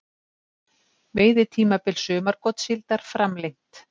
Veiðitímabil sumargotssíldar framlengt